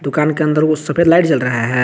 दुकान के अंदर वो सफेद लाइट जल रहा है।